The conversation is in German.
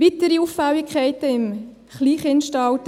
Weitere Auffälligkeiten im Kleinkindalter: